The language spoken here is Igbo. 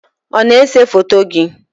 ọ na-ese foto gị?